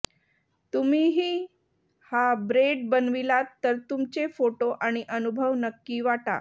तुम्हीही हा ब्रेड बनविलात तर तुमचे फोटो आणि अनुभव नक्की वाटा